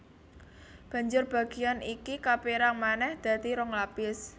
Banjur bagéan iki kapérang manèh dadi rong lapis